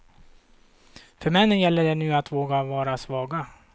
För männen gäller det nu att våga vara svaga.